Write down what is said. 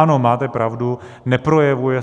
Ano, máte pravdu, neprojevují